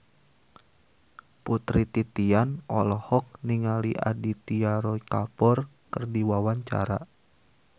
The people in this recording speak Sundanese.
Putri Titian olohok ningali Aditya Roy Kapoor keur diwawancara